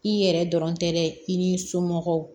I yɛrɛ dɔrɔn tɛ dɛ i n'i somɔgɔw